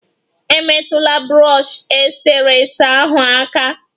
Emetụla brọshi eserese ahụ aka!